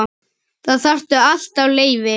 Þá þarftu alltaf leyfi.